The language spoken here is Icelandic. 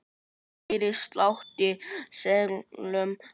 Heyri slátt í seglum hátt.